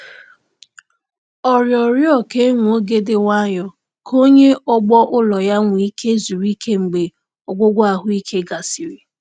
Ọ rịọrọ ka e nwee oge dị nwayọ ka onye ọgbọ ulọ ya nwee ike zuru ike mgbe ọgwụgwọ ahụike gasịrị.